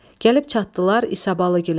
Gəlib çatdılar İsabalıgilə.